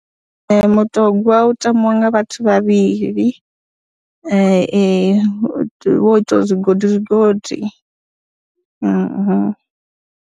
Mutogwa u tambiwa nga vhathu vhavhili vho ita zwigodi zwigodi.